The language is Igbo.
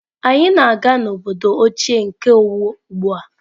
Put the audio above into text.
Anyị na-aga n'obodo ochie nke Owo ugbu a.